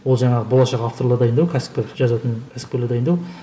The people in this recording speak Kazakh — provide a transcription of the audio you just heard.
ол жаңағы болашақ авторлар дайындау кәсіпкер жазатын кәсіпкерлер дайындау